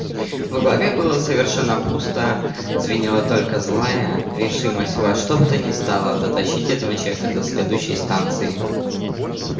в голове было совершенно пусто звенела только злая решимость во что бы то ни стало дотащить этого человека до следующей станции